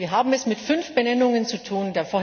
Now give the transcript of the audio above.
Wir haben es mit fünf Benennungen zu tun.